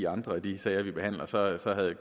andre af de sager vi behandler så